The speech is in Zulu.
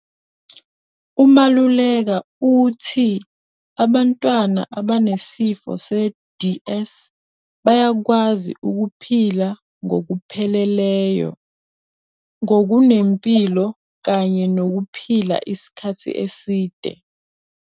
UMaluleka uthi abantwana abanesifo se-DS bayakwazi ukuphila ngokupheleleyo, ngokunempilo kanye nokuphila isikhathi eside.